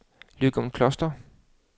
Løgumkloster